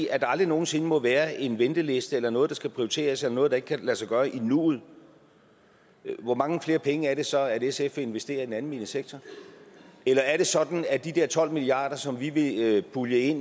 at der aldrig nogen sinde må være en venteliste eller noget der skal prioriteres eller noget der ikke kan lade sig gøre i nuet hvor mange flere penge er det så sf vil investere i den almene sektor eller er det sådan at de der tolv milliard kr som vi vil pulje